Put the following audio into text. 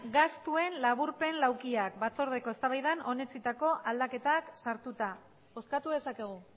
gastuen laburpen laukiak batzordeko eztabaidan onetsitako aldaketak sartuta bozkatu dezakegu